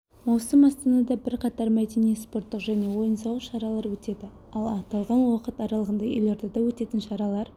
маусым астанада бірқатар мәдени спорттық және ойын-сауық шаралар өтеді ал аталған уақыт аралығында елордада өтетін шаралар